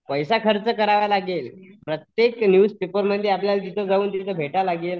पैसा खर्च करावा लागेल. प्रत्येक न्यूज पेपर मध्ये जिथे तिथे जाऊन भेटावं लागेल.